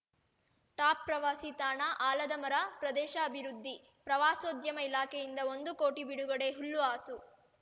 ಟಾಪ್‌ಪ್ರವಾಸಿ ತಾಣ ಆಲದ ಮರ ಪ್ರದೇಶ ಅಭಿವೃದ್ಧಿ ಪ್ರವಾಸೋದ್ಯಮ ಇಲಾಖೆಯಿಂದ ಒಂದು ಕೋಟಿ ಬಿಡುಗಡೆ ಹುಲ್ಲು ಹಾಸು